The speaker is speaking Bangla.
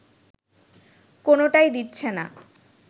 কোনোটাই দিচ্ছে না